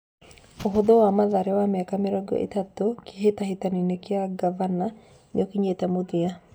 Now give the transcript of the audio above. Ũhũthũ wa Mathare wa mĩaka mĩrongo ĩtatũ Kĩhĩtahĩtanoinĩ gĩa ngavana nĩũkinyĩte mũthia.